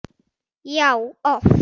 Já, oft.